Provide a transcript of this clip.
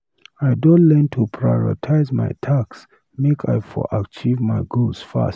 I don learn to prioritize my tasks make I for achieve my goals fast.